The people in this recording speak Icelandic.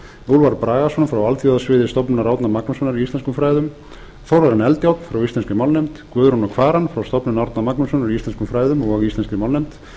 úlfar bragason frá alþjóðasviði stofnunar árna magnússonar í íslenskum fræðum þórarin eldjárn frá íslenskri málnefnd guðrúnu kvaran frá stofnun árna magnússonar í íslenskum fræðum og í íslenskri málnefnd